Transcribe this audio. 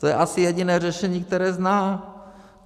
To je asi jediné řešení, které zná."